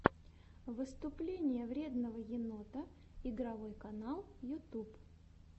выступление вредного енота игровой канал ютуб